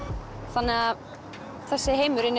þannig að þessi heimur inni